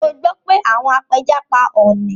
Mo gbọ́ pé àwọn apẹja pa ọọ̀ni